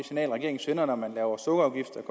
signal regeringen sender når man laver sukkerafgifter